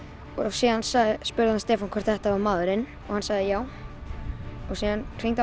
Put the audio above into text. síðan spurði hann Stefán hvort þetta væri maðurinn og hann sagði já síðan hringdi